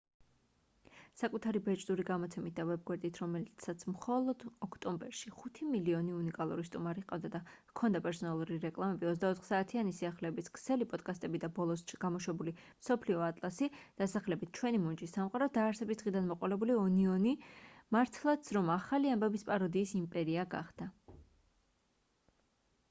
საკუთარი ბეჭდური გამოცემით და ვებგვერდით რომელსაც მხოლოდ ოქტომბერში 5,000,000 უნიკალური სტუმარი ჰყავდა და ჰქონდა პერსონალური რეკლამები 24 საათიანი სიახლეების ქსელი პოდკასტები და ბოლოს გამოშვებული მსოფლიო ატლასი დასახელებით ჩვენი მუნჯი სამყარო დაარსების დღიდან მოყოლებული ონიონი მართლაც რომ ახალი ამბების პაროდიის იმპერია გახდა